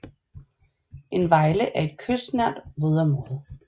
En vejle er et kystnært vådområde